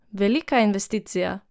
Velika investicija!